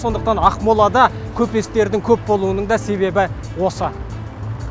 сондықтан ақмолада көпестердің көп болуының да себебі осы